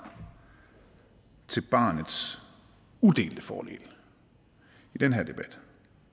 til barnets udelte fordel i den her debat